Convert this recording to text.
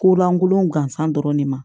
Ko lankolon gansan dɔrɔn de ma